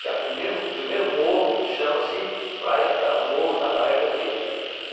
Que é a primeiro primeiro morro, chama-se praia pra Morro da Praia Vermelha o.